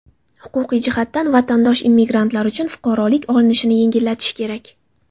Huquqiy jihatdan vatandosh-immigrantlar uchun fuqarolik olinishini yengillatish kerak.